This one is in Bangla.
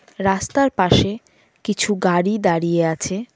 রাস্তার পাশে কিছু গাড়ি দাঁড়িয়ে আছে।